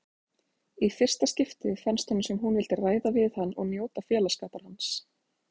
Í fyrsta skipti fannst honum sem hún vildi ræða við hann og njóta félagsskapar hans.